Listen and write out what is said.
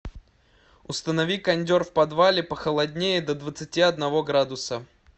установи кондер в подвале похолоднее до двадцати одного градуса